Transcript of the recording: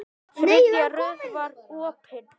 Þriðja rörið var opið.